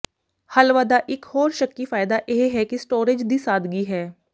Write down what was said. ਹਲਵਾ ਦਾ ਇੱਕ ਹੋਰ ਸ਼ੱਕੀ ਫਾਇਦਾ ਇਹ ਹੈ ਕਿ ਸਟੋਰੇਜ ਦੀ ਸਾਦਗੀ ਹੈ